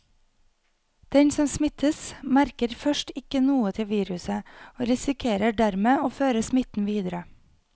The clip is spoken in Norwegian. Den som smittes, merker først ikke noe til viruset og risikerer dermed å føre smitten videre.